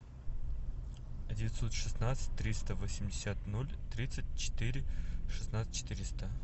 девятьсот шестнадцать триста восемьдесят ноль тридцать четыре шестнадцать четыреста